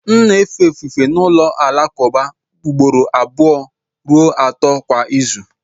M na-efe ofufe n'ụlọ alakụba ugboro abụọ ruo atọ kwa izu